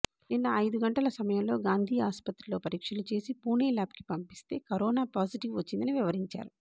నిన్న ఐదు గంటల సమయంలో గాంధీ ఆస్పత్రిలో పరీక్షలు చేసి పుణే ల్యాబ్కు పంపిస్తే కరోనా పాటిజివ్ వచ్చిందని వివరించారు